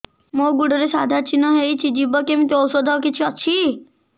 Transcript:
ମୋ ଗୁଡ଼ରେ ସାଧା ଚିହ୍ନ ହେଇଚି ଯିବ କେମିତି ଔଷଧ କିଛି ଅଛି